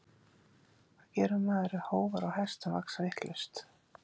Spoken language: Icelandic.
Hvað gerir maður ef hófar á hestum vaxa vitlaust?